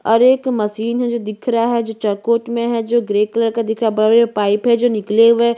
और एक मशीन है जो दिख रहा है जो चरकोट में है जो ग्रे कलर का दिख रहा है भव्य पाइप है जो निकले हुए है।